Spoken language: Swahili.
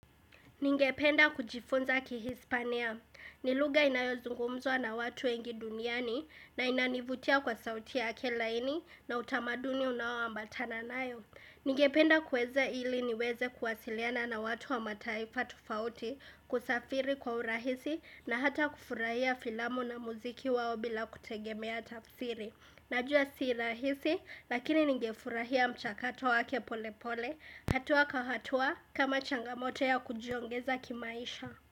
Ningependa kujifunza kihispania. Ni lugha inayo zungumzwa na watu wengi duniani na inanivutia kwa sauti yale laini na utamaduni unao ambatana nayo. Ningependa kuweza ili niweze kuwasiliana na watu wa mataifa tofauti kusafiri kwa urahisi na hata kufurahia filamu na muziki wao bila kutegemea tafsiri. Najua si rahisi, lakini ningefurahia mchakato wake pole pole, hatua kwa hatua kama changamoto ya kujiongeza kimaisha.